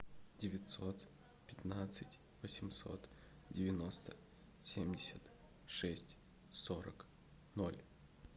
девятьсот пятнадцать восемьсот девяносто семьдесят шесть сорок ноль